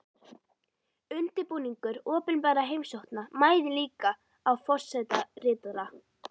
Undirbúningur opinberra heimsókna mæðir líka á forsetaritara.